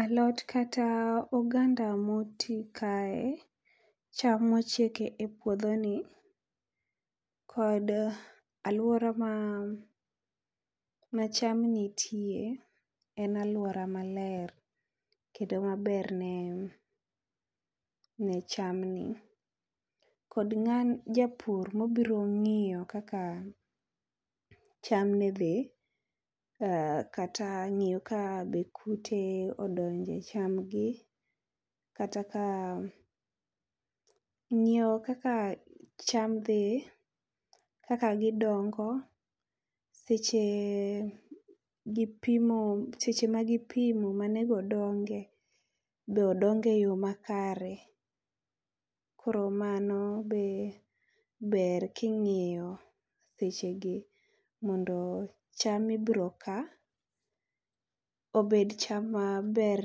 Alot kata oganda moti kae. Cham mochiek e puodho ni, kod alwora ma macham nitie en alwora maler. Kendo maber ne ne cham ni. Kod japur ma obiro ng'iyo kaka chamne dhi, kata ng'iyo be ka be kute odonjo e chamgi. Kata ka ng'iyo kaka cham dhi, kaka gidongo, seche gipimo, seche magipimo ma onego odonge. Be odonge yo makare. Koro mano be ber king'iyo sechegi, mondo cham ma ibiro ka, obed cham maber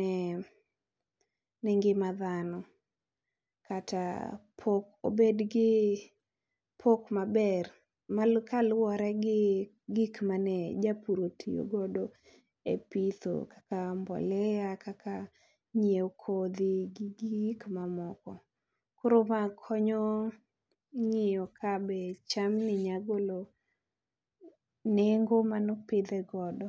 ne ne ngima dhano. Kata pok, obed gi pok maber mal kaluwore gi gik mane japur otiyogodo e pitho kaka mbolea, gi nyiewo kodhi gi gik mamoko. Koro ma konyo ng'iyo ka be cham ni nya golo nengo manopidhe godo.